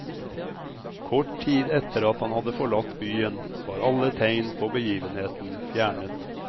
Kort tid etter at han hadde forlatt byen, var alle tegn på begivenheten fjernet.